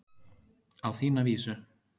Á þína vísu.